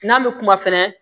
N'an bɛ kuma fɛnɛ